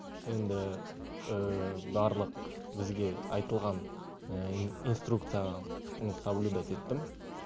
енді барлық бізге айтылған инструкция соблюдать еттім